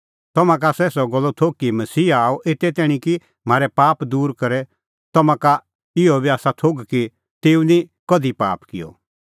तम्हां का आसा एसा गल्लो थोघ कि मसीहा आअ एते तैणीं कि म्हारै पाप दूर करे तम्हां का इहअ बी आसा थोघ कि तेऊ निं कधि पाप किअ